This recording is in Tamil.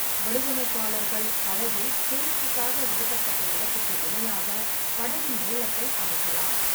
வடிவமைப்பாளர்கள் படகில் சேமிப்புக்காக ஒதுக்கப்பட்ட இடத்துக்கு இணையாக படகின் நீளத்தை அமைக்கலாம்.